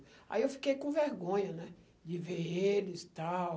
Aí eu fiquei com vergonha, né, de ver eles, tal.